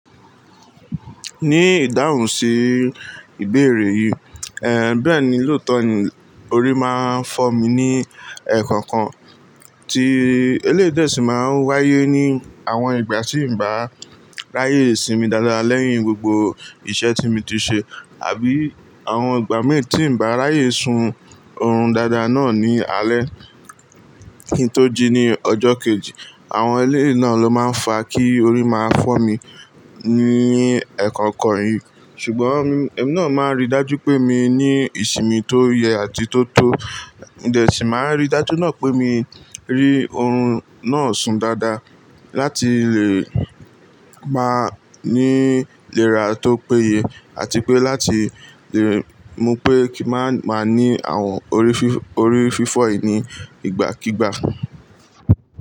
Ní ìdáhùn sí ìbéèrè yìí, ẹ́n, bẹ́ẹ̀ni lóòótọ́ ni orí máa ń fọ́ mi ní ẹẹ́kànkan, tí eléèdè sì máa ń wáyé ní àwọn ìgbà tí n bá ráyè sinmi dáadáa lẹ́yìn gbogbo iṣẹ́ tí mi ti ṣe àbí àwọn ìgbà mi tí n bá ráyè sun oorun dáadáa náà ní alẹ́ kí n tó jinni ọjọ́ kejì. Àwọn eleyii náà ló máa ń fa kí orí máa fọ́ mi ní ẹẹ́kànkan yìí. Ṣùgbọ́n, èmi náà máa ń rí dájú pé mi ní ìsinmi tó yẹ àti tó tọ́, mo dè sì máa ń rí dájú náà pé mí rí oorun náà sun dáadáa láti lè máa ní ìlera tó péye àti pé láti lè mọ pé kí má má ní àwọn orí fífọ̀ yìí ní ìgbàkígbà.